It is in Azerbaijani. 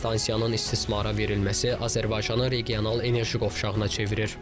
Stansiyanın istismara verilməsi Azərbaycanı regional enerji qovşağına çevirir.